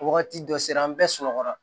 Wagati dɔ sera an bɛɛ sunɔgɔ la